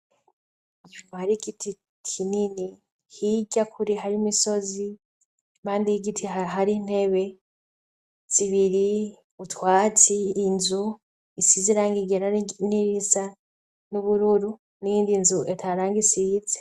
Hari igiti kinini hirya kure hari imisozi impande y'igiti hari ntebe zibiri, utwatsi, inzu isize irangi ryera nirindi risa n'ubururu niyindi nzu ata na hamwe isize.